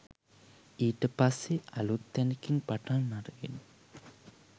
ඊට පස්සෙ අලුත් තැනකින් පටන් අරගෙන